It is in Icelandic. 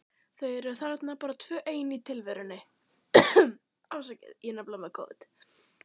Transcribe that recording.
Þau eru þarna bara tvö ein í tilverunni.